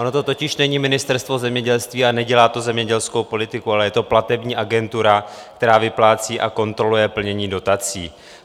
Ono to totiž není Ministerstvo zemědělství a nedělá to zemědělskou politiku, ale je to platební agentura, která vyplácí a kontroluje plnění dotací.